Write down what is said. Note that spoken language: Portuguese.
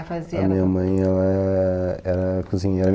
A minha mãe, ela é ela era cozinheira.